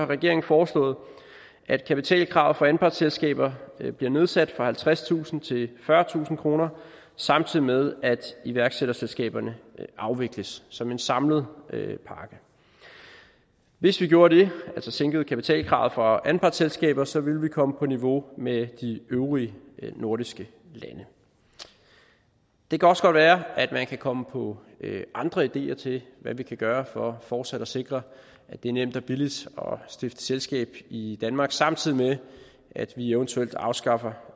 regeringen foreslået at kapitalkravet for anpartsselskaber bliver nedsat fra halvtredstusind til fyrretusind kr samtidig med at iværksætterselskaberne afvikles som en samlet pakke hvis vi gjorde det altså sænkede kapitalkravet for anpartsselskaber så ville vi komme på niveau med de øvrige nordiske lande det kan også godt være at man kan komme på andre ideer til hvad vi kan gøre for fortsat at sikre at det er nemt og billigt at stifte selskab i danmark samtidig med at vi eventuelt afskaffer